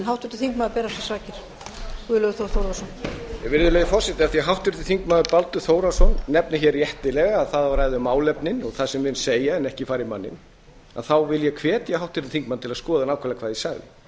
virðulegi forseti af því að háttvirtur þingmaður baldur þórhallsson nefnir réttilega að það á að ræða um málefnin og það sem menn segja en ekki fara í manninn þá vil ég hvetja háttvirtan þingmann til að skoða nákvæmlega hvað ég sagði